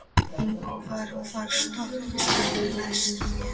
Ingvar, hvaða stoppistöð er næst mér?